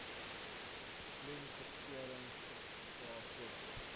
klemverskuiwings gevra sodat